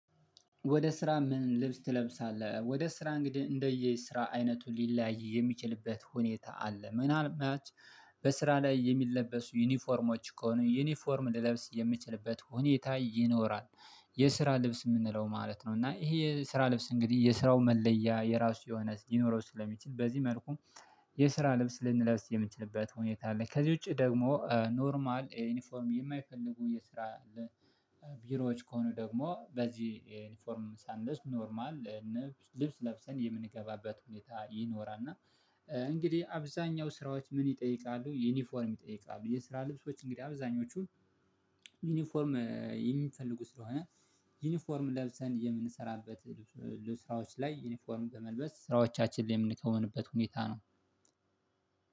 ወደ ስራ ምን ልብስ ትለብሳለህ? ወደ ስራ እንግዲህ እንደየ ስራ አይነቱ ሊለያይ የሚችልበት ሁኔታ አለ ምናልባት በስራ ላይ የሚለበሱ ዩኒፎርሞች ከሆኑ ዩኒፎርም ልለብስ የምችልበት ሁኔታ ይኖራል። የስራ ልብስ ምንለው ማለት ነው እና ይህ የስራ ልብስ እንግዲህ የስራው መለያ የራሱ የሆነ ሊኖረው ስለሚችል በዚህ መልኩ የስራ ልብስ ልንለብስ የምንችልበት ሁኔታ አለ። ከዚህ ውጪ ደግሞ ኖርማል ዩኒፎርም የማይፈልጉ የስራ ቢሮዎች ከሆኑ ደግሞ በዚህ ዩኒፎርም ሳንለብስ ኖርማል ልብስ ለብሰን የምንገባበት ሁኔታ ይኖራል። እና እንግዲህ አብዛኛው ስራዎች ምን ይጠይቃሉ ዩኒፎርም ይጠይቃሉ? የስራ ልብሶች እንግዲህ አብዛኞቹን ዩኒፎርም የሚፈልጉ ስለሆነ ዩኒፎርም ለብሰን የምንሰራበት ስራዎች ላይ ዩኒፎርም በመልበስ ስራዎቻችን ላይ የምንከውንበት ሁኔታ ነው።